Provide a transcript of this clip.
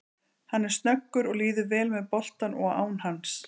Hann er snöggur og líður vel með boltann og án hans.